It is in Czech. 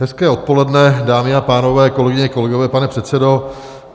Hezké odpoledne, dámy a pánové, kolegyně, kolegové, pane předsedo.